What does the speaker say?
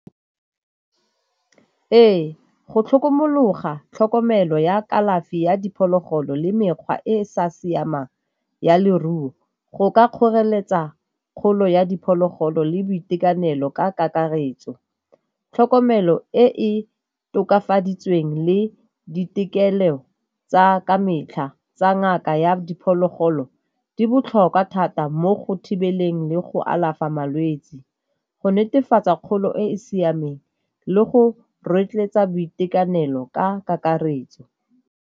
Ee, go tlhokomologa tlhokomelo ya kalafi ya diphologolo le mekgwa e e sa siamang ya leruo go ka kgoreletsa kgolo ya diphologolo le boitekanelo ka kakaretso. Tlhokomelo e e tokafaditsweng le ditokelo tsa ka metlha tsa ngaka ya diphologolo di botlhokwa thata mo go thibeleng le go alafa malwetse, go netefatsa kgolo e e siameng le go rotloetsa boitekanelo ka kakaretso.